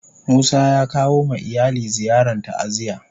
Musa ya kawo ma iyali ziyarn ta'aziyya.